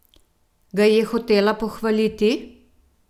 Ga je hotela pohvaliti?